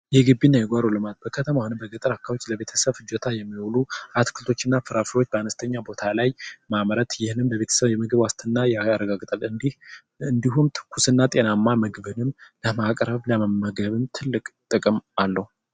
የጊቢና የጓሮ ልማት ለግልና ለቤተሰብ የሚሆኑ አትክልቶችና ፍራፍሬዎች አነስተኛ ቦታ ላይ ማምረት ይህንን ለቤተሰብ የምግብ ዋስትና ያረጋግጣል እንዲሁም ትኩስና ጤናማ ምግብን ለማቅረብ እና ለመመገብም ትልቅ ጥቅም አለው።